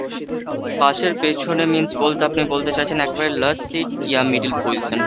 bus এর পেছনে means বলতে আপনি বলতে চাইছেন একেবারে last seat কী বা middle position।